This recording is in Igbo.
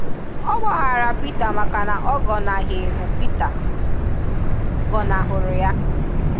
Ọ gbàhàrà Pita maka na ọ̀ gọnàghị hụ Pita, gọnàhụrụ ya.